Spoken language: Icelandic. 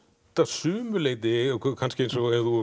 sumu leyti eins og þú